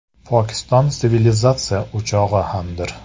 Pokiston sivilizatsiya o‘chog‘i hamdir.